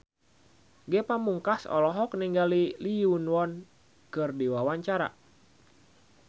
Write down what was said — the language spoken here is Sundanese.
Ge Pamungkas olohok ningali Lee Yo Won keur diwawancara